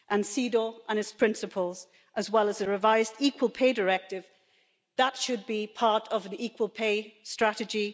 CEDAW and its principles, as well as a revised Equal Pay Directive, should be part of the equal pay strategy.